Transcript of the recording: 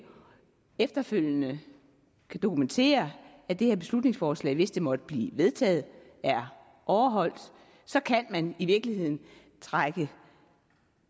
efterfølgende kan dokumentere at det her beslutningsforslag hvis det måtte blive vedtaget er overholdt så kan man i virkeligheden trække